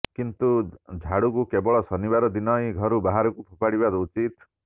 କିନ୍ତୁ ଝାଡୁକୁ କେବଳ ଶନିବାର ଦିନ ହିଁ ଘରୁ ବାହାରକୁ ଫୋପାଡିବା ଉଚିତ